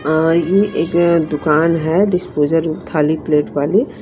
ये एक दुकान है डिस्पोज़र थाली प्लेट वाली।